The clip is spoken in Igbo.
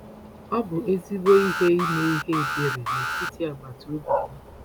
Ọ bụ ezigbo ihe ime ihe ebere n’etiti agbata obi gị.